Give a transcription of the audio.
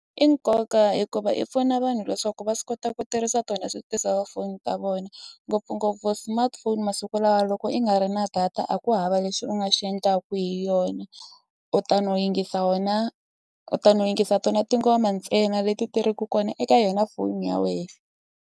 I nkoka hikuva i pfuna vanhu leswaku va swi kota ku tirhisa tona ti-cellphone ta vona ngopfungopfu smartphone masiku lawa loko i nga ri na data a ku hava lexi u nga xi endlaku hi yona u ta no yingisa wena u ta no yingisa tona tingoma ntsena leti ti ri ku kona eka yona foni ya we.